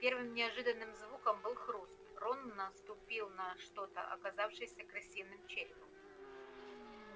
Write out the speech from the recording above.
первым неожиданным звуком был хруст рон наступил на что-то оказавшееся крысиным черепом